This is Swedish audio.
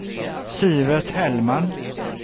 Sivert Hellman